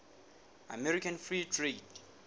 american free trade